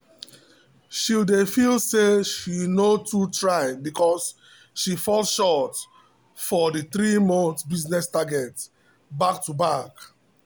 she dey feel say she no too try because she fall short for the three-month business target back to back.